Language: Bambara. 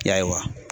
Yaye wa